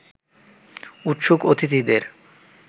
উৎসুক অতিথিদের